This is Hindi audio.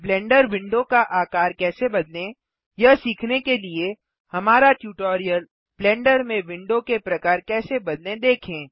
ब्लेंडर विंडो का आकार कैसे बदलें यह सीखने के लिए हमारा ट्यूटोरियल -ब्लेंडर में विंडो के प्रकार कैसे बदलें देखें